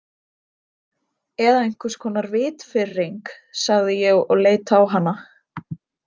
Eða einhvers konar vitfirring, sagði ég og leit á hana.